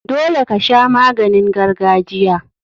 Dole kasha maganin gargajiya.